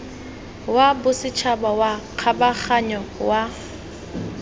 wa bosetšhaba wa kgabaganyo wa